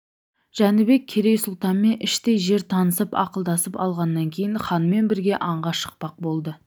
жәнібек керей сұлтанмен іштей жер танысып ақылдасып алғаннан кейін ханмен бірге аңға шықпақ болды